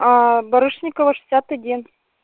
аа барышникова шестьдесят один